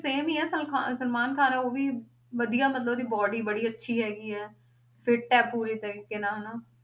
Same ਹੀ ਹੈ ਸਲਖਾ, ਸਲਮਾਨ ਖਾਨ ਉਹ ਵੀ ਵਧੀਆ ਮਤਲਬ ਉਹਦੀ body ਬੜੀ ਅੱਛੀ ਹੈਗੀ ਹੈ fit ਹੈ ਪੂਰੇ ਤਰੀਕੇ ਨਾਲ ਹਨਾ,